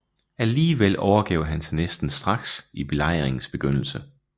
Alligevel overgav han sig næsten straks i belejringens begyndelse